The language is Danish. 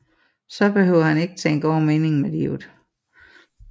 Så behøver han ikke tænke over meningen med livet